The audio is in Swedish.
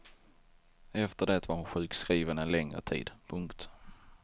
Efter det var hon sjukskriven en längre tid. punkt